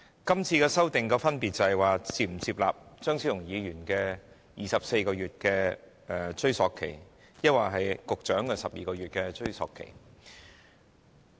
現在要討論的是，我們是否接納張超雄議員提出的24個月檢控時效限制，抑或局長提出的12個月。